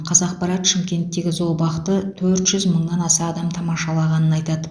қазақпарат шымкенттегі зообақты төрт жүз мыңнан аса адам тамашалағанын айтады